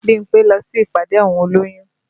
Bímpé lọ sí ìpàdé àwọn olóyún